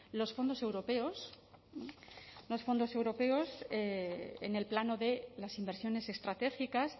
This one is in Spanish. los fondos europeos los fondos europeos en el plano de las inversiones estratégicas